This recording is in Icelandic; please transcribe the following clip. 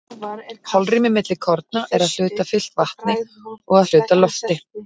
holrými milli korna er að hluta fyllt vatni og að hluta lofti